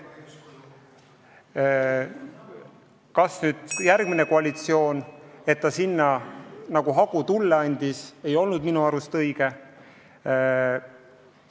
See, et järgmine koalitsioon tulle hagu juurde pani, pole minu arust õige olnud.